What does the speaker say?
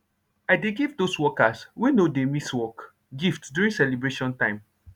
i dey give dos workers wey nor dey miss work gift during celeybration time